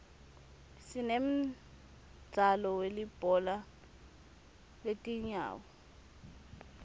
sinemdzalo welibhola letingawo